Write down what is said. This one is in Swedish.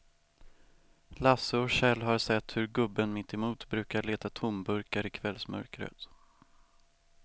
Lasse och Kjell har sett hur gubben mittemot brukar leta tomburkar i kvällsmörkret.